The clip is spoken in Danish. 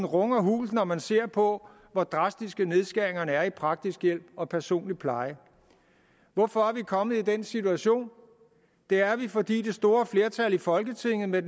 runger hult når man ser på hvor drastiske nedskæringerne er i den praktiske hjælp og personlige pleje hvorfor er vi kommet i den situation det er vi fordi det store flertal i folketinget med